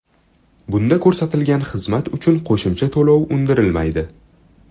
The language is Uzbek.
Bunda ko‘rsatilgan xizmat uchun qo‘shimcha to‘lov undirilmaydi.